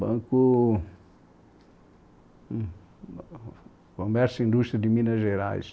Banco... Comércio e Indústria de Minas Gerais.